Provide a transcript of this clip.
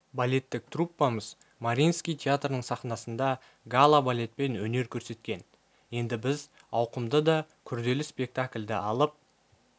балеттік труппамыз мариинский театрының сахнасында гала балетпен өнер көрсеткен енді біз ауқымды да күрделі спектакльді алып